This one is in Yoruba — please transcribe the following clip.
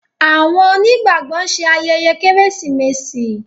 Awon oni gbàgbó nṣe ayẹyẹ Kérésìmesì